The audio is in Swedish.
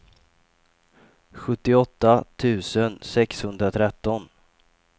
sjuttioåtta tusen sexhundratretton